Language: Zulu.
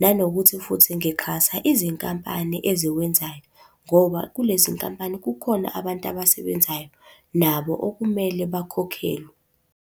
Nanokuthi futhi ngixhasa izinkampani eziwenzayo, ngoba kulezi nkampani kukhona abantu abasebenzayo nabo okumele bakhokhelwe.